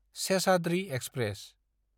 Seshadri express